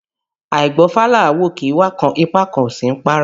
Àìgbọ́fá là ń wòkè, ifá kan kò sí ní párá